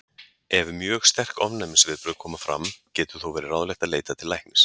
Ef mjög sterk ofnæmisviðbrögð koma fram getur þó verið ráðlegt að leita til læknis.